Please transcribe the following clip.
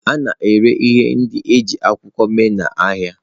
A na-ere ihe ndị e ji akwụkwọ mee n'ahịa.